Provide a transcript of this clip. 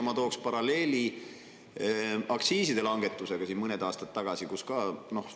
Ma tooks paralleeli aktsiiside langetusega, siin mõned aastad tagasi.